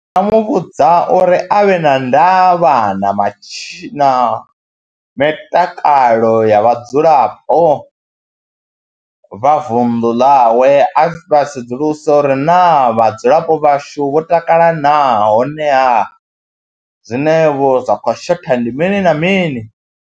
Ndi nga mu vhudza uri a vhe na ndavha na matshi na mitakalo ya vhadzulapo vha vunḓu ḽawe, a vha sedzuluse uri naa vhadzulapo vhashu vho takala naa honeha zwinevho zwa khou shotha ndi mini na mini.